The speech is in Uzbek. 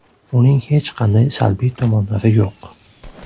Uning hech qanday salbiy tomonlari yo‘q.